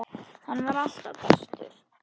Hann var alltaf bestur.